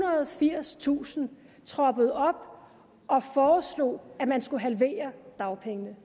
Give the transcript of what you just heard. og firstusind troppede op og foreslog at man skulle halvere dagpengene